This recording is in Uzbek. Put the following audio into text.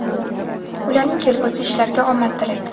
ularning kelgusi ishlariga omad tilaydi!.